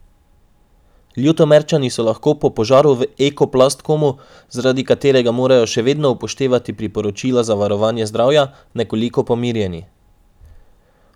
Ljutomerčani so lahko po požaru v Eko Plastkomu, zaradi katerega morajo še vedno upoštevati priporočila za varovanje zdravja, nekoliko pomirjeni.